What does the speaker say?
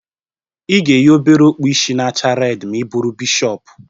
Ị ga-eyi obere okpu ishi na-acha redi ma ị bụrụ bishọpu